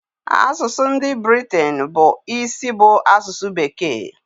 Asụsụ ndị Britain bụ isi bụ asụsụ bekee.